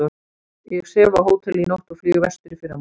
Ég sef á hóteli í nótt og flýg vestur í fyrramálið